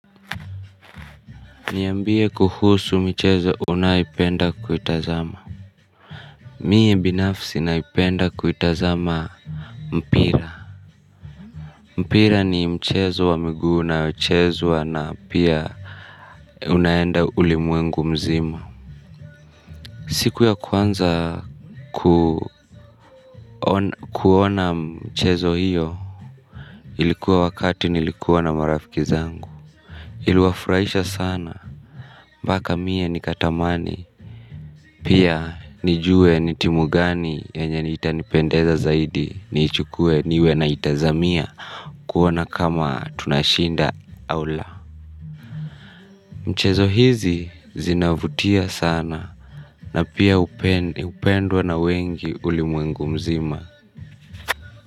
Niambie kuhusu michezo unayoipenda kuitazama. Mie binafsi naipenda kuitazama mpira. Mpira ni mchezo wa migu naochezwa na pia unaenda ulimwengu mzima. Siku ya kwanza kuona mchezo hiyo ilikuwa wakati nilikuwa na marafiki zangu. Iluwafuraisha sana mbaka mia nikatamani. Pia nijue nitimugani yenye itanipendeza zaidi niichukue niwe na itazamia. Kuona kama tunashinda au la mchezo hizi zinavutia sana. Na pia upendwa na wengi ulimwengu mzima.